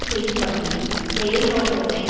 செய்யும் வகையில் செயல்நோக்கத்தை